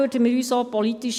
Ist das bestritten?